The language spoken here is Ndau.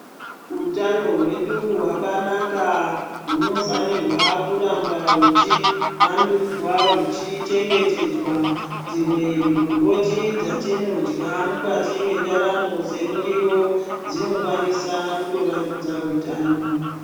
Utano hwedu hwakanaka hunofanirwa kuramba huchi vandudzwa humwe huchichetedzwa dzimwe migomboti dzatinodya mukati mendaramo semuriwo dzinokwanisa kuto vandudza hutano.